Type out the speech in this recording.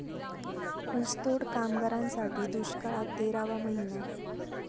ऊसतोड कामगारांसाठी दुष्काळात तेरावा महिना